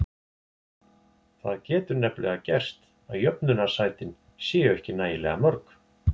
Það getur nefnilega gerst að jöfnunarsætin séu ekki nægilega mörg.